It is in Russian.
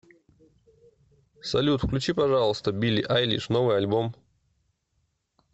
салют включи пожалуйста билли айлиш новый альбом